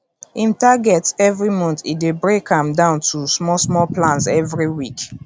him targets every month e dey break am down to small small plans every week